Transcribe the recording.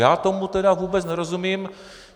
Já tomu tedy vůbec nerozumím.